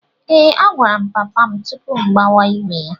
Ee, agwara m papa m tupu m agbawa ígwè ya.